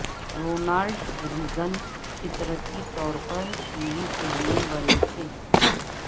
Ronald Reagan فطرتی طور پر ٹی وی کے لیے بنے تھے